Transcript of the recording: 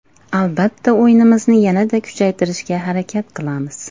Albatta o‘yinimizni yanada kuchaytirishga harakat qilamiz.